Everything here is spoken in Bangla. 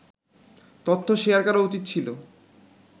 তথ্য শেয়ার করা উচিত ছিল